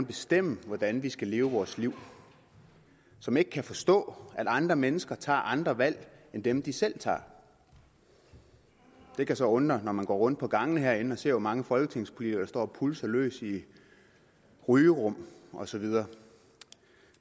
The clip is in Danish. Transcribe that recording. bestemme hvordan vi skal leve vores liv og som ikke kan forstå at andre mennesker tager andre valg end dem de selv tager det kan så undre når man går rundt på gangene herinde og ser hvor mange folketingspolitikere der står og pulser løs i rygerum og så videre